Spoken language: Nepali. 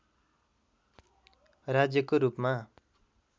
राज्यको रूपमा